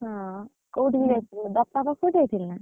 ହଁ, କୋଉଠି କି ଯାଇଥିଲୁ? ବାପାଙ୍କ ସହିତ ଯାଇଥିଲୁ?